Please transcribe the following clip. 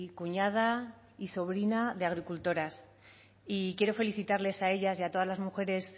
cuñada y sobrina de agricultoras y quiero felicitarles a ellas y a todas las mujeres